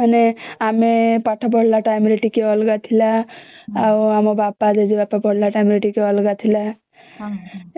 ମାନେ ଆମେ ପାଠ ପଢିଲା ଟାଇମ ରେ ଟିକେ ଅଲଗା ଥିଲା ଆଉ ଆମ ବାପା ଜେଜେବାପା ପଢିଲା ବେଳେ ଟିକେ ଅଲଗା ଥିଲା